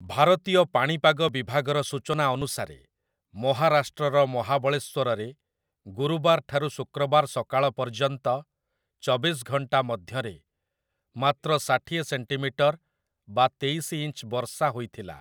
ଭାରତୀୟ ପାଣିପାଗ ବିଭାଗର ସୂଚନା ଅନୁସାରେ, ମହାରାଷ୍ଟ୍ରର ମହାବଳେଶ୍ଵରରେ, ଗୁରୁବାର ଠାରୁ ଶୁକ୍ରବାର ସକାଳ ପର୍ଯ୍ୟନ୍ତ ଚବିଶ ଘଣ୍ଟା ମଧ୍ୟରେ ମାତ୍ର ଷାଠିଏ ସେଣ୍ଟିମିଟର ବା ତେଇଶି ଇଞ୍ଚ ବର୍ଷା ହୋଇଥିଲା ।